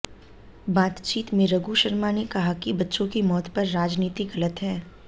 बातचीत में रघु शर्मा ने कहा कि बच्चों की मौत पर राजनीति गलत है